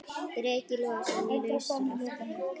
Breki Logason: Í lausu loft?